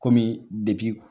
Kɔmi